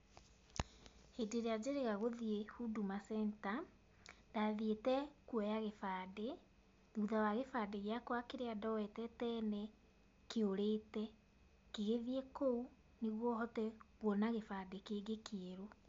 Hĩndĩ ĩrĩa njĩrĩga gũthiĩ Huduma Center, ndathiĩte kuoya gĩbandĩ, thutha wa gĩbandĩ gĩakwa kĩrĩa ndoyete tene, kĩũrĩte, ngĩgĩthiĩ kũu nĩguo hote kuona gĩbandĩ kĩngĩ kĩerũ.